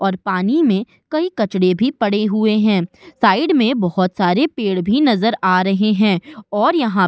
और पानी में कई कचड़े भी पड़े हुए हैं। साइड में बोहोत सारे पेड़ भी नजर आ रहे हैं और यहां --